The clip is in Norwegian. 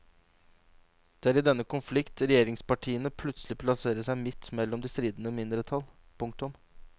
Det er i denne konflikt regjeringspartiene plutselig plasserer seg midt mellom de stridende mindretall. punktum